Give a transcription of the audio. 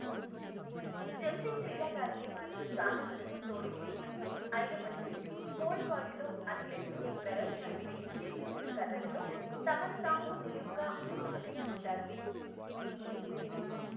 Jumping క్రీడా కార్యక్రమాలు చాలా వరకు తోడు లేనివి, అయినప్పటికీ పోల్ వాల్ట్లో అథ్లెట్లు ఈ ప్రయోజనానికై నిర్మించిన కర్రలతో తమను తాము నిలువుగా ముందుకు నెట్టుకుంటారు.